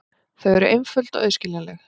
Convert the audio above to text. Þau eru einföld og auðskiljanleg.